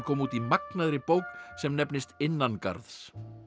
út í magnaðri bók sem nefnist innan garðs